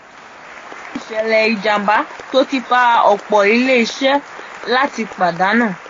èyí jẹ́ ìṣèlẹ̀ ìjàmbá tó ti fa ọ̀pọ̀ ilé iṣẹ́ láti pàdánù.